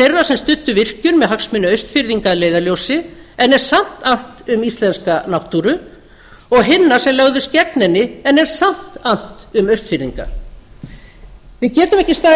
þeirra sem studdu virkjun með hagsmuni austfirðinga að leiðarljósi en er samt annt um íslenska náttúru og hinna sem lögðust gegn henni en er samt annt um austfirðinga við getum ekki staðið